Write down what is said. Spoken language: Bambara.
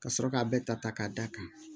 Ka sɔrɔ ka bɛɛ ta ta k'a d'a kan